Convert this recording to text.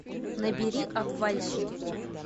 набери обвальщики